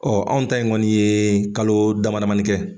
Ɔɔ anw ta in kɔni ye kalo dama damani kɛ.